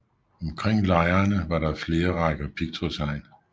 Omkring lejrene var der flere rækker pigtrådshegn